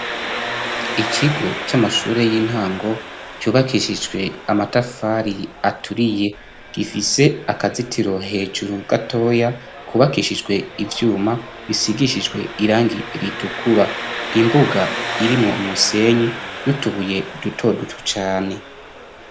Ikigo c'amashure y'intango cubakishijwe amatafari aturiye, gifise akazitiro hejuru gatoya kubakishijwe ivyuma bisigishijwe irangi ritukura, imbuga irimo umusenyi nutubuye dutodutu cane.